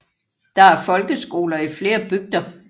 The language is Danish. Der er folkeskoler i flere bygder